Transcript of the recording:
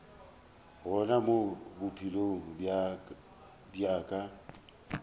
gona mo bophelong bja ka